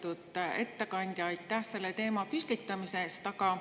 Lugupeetud ettekandja, aitäh selle teema püstitamise eest!